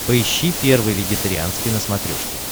поищи первый вегетарианский на смотрешке